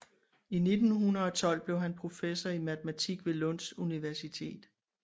I 1912 blev han professor i matematik ved Lunds Universitetet